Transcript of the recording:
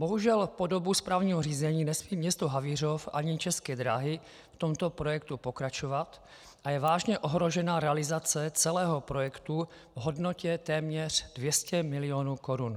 Bohužel po dobu správního řízení nesmí město Havířov ani České dráhy v tomto projektu pokračovat a je vážně ohrožena realizace celého projektu v hodnotě téměř 200 milionů korun.